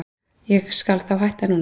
Ég skal þá hætta núna.